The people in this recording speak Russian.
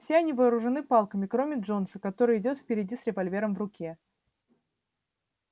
все они вооружены палками кроме джонса который идёт впереди с револьвером в руке